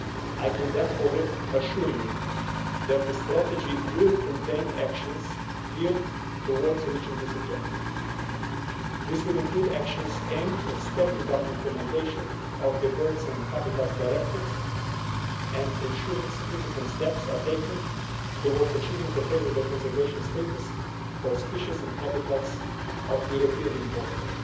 I can therefore assure you that the strategy will contain actions geared to reaching this objective. This will include actions aimed at stepping up implementation of the Birds and Habitats Directives and ensuring significant steps are taken towards achieving a favourable conservation status for species and habitats of European importance.